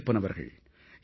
மாரியப்பன் அவர்கள்